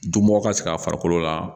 Dunbɔ ka se ka farikolo la